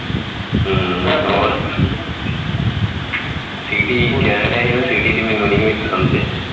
ਹਮ ਹੋਰ city ਹੈ city ਦਾ ਮੈਨੂੰ ਨਹੀ ਹੈ ਸਮਝ